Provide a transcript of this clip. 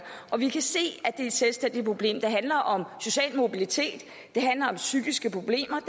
og vi kan se at det er et selvstændigt problem det handler om social mobilitet det handler om psykiske problemer